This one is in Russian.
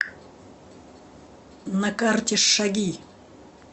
на карте шаги